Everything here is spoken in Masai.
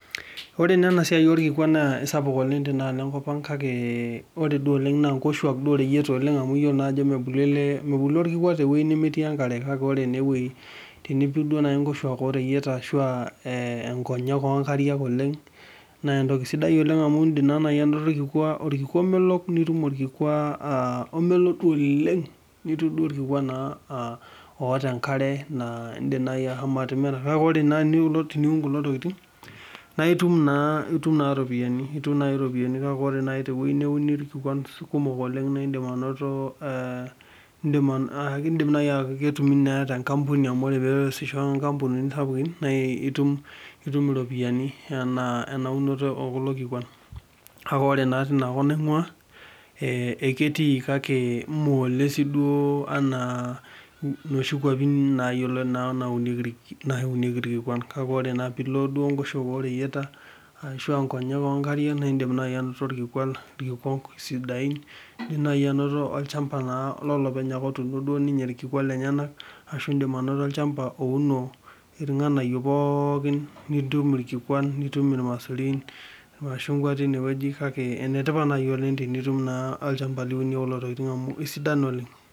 Ore naa ena siai oorkikuan naa aisapuk oleng' tena alo enkop ang' kake ore duo oleng' naa inkoshwak duo ooreyiata oleng' amu iyoko naa ajo mebulu orkikua tewei nemetii enkare kake ore ene wei tenipik nayii inkoshwaki ooreyieta ashuu aa inkonyek oonkariak naa entoki sidai oleng' amu iidim naa naji anoto orkikua omelok nitum orkikua omelok duo oleng' nitum orkikua oota enkare aa iindim naji ashomo atimira kake ore naa teniun kulo tokiting naa itun naa iropiyiani itum naa iropiyiani kake ore nayii tewei neuni irkikuan kumok oleng indim anoto ketumi naa tenkampuni amu oree pee eyasisho enkampunini sapukin naa itum iropiyiani enaa unoto oo kulo kikuan kake oree naa teina kop naing'ua eketii kake mee oleng sii duo enaa inoshi kwapin naaunieki irkikuan kake ore naa piilo enkoshuak ooreyieta ashuu aa inkonyek oo nkariak naa iindim naaji anoto irkikuan sidain indim naaji anoto olchampa naa lolopeny ake otuuno ninye irkikuan lenyenak ashuu iindim anoto olchampa ouno irng'anayio pookin nitum irkikuan nitum irmaisurin ashuu inkwat teine weji ene tipat naji tenitum naa olchampa liunie kulo tokiting' amu aisidan oleng'